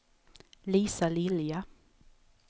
Lisa Lilja